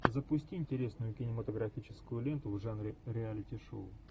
запусти интересную кинематографическую ленту в жанре реалити шоу